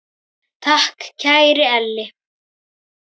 Takk, kæri Elli.